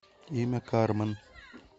имя кармен